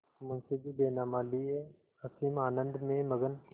मुंशीजी बैनामा लिये असीम आनंद में मग्न